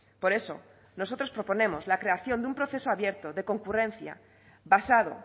por eso nosotros proponemos la creación de un proceso abierto de concurrencia basado